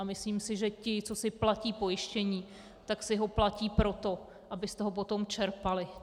A myslím si, že ti, co si platí pojištění, tak si ho platí proto, aby z toho potom čerpali.